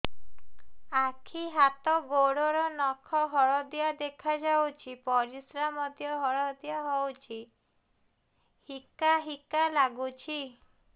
ଆଖି ହାତ ଗୋଡ଼ର ନଖ ହଳଦିଆ ଦେଖା ଯାଉଛି ପରିସ୍ରା ମଧ୍ୟ ହଳଦିଆ ହଉଛି ହିକା ହିକା ଲାଗୁଛି